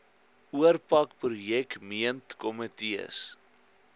oorpak projek meentkomitees